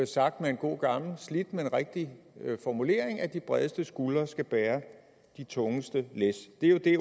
sagt med en god gammel og slidt men rigtig formulering at de bredeste skuldre skal bære de tungeste læs det er jo det